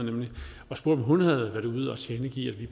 og spurgte om hun havde været ude at tilkendegive at vi